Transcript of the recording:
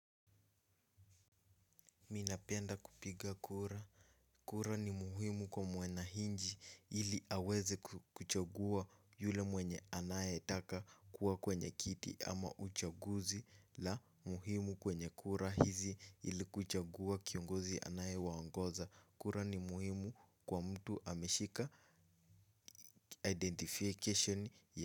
Mimi napenda kupiga kura. Kura ni muhimu kwa mwananchi ili aweze kuchagua yule mwenye anaye taka kuwa kwenye kiti ama uchaguzi la muhimu kwenye kura hizi ili kuchagua kiongozi anayewaongoza kura ni muhimu kwa mtu ameshika identification ya.